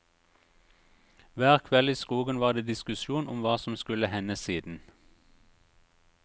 Hver kveld i skogen var det diskusjon om hva som skulle hende siden.